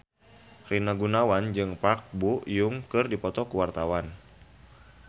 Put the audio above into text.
Rina Gunawan jeung Park Bo Yung keur dipoto ku wartawan